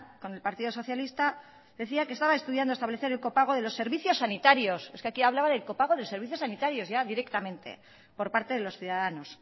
con el partido socialista decía que estaba estudiando establecer el copago de los servicios sanitarios es que aquí hablaba del copago de servicios sanitarios directamente por parte de los ciudadanos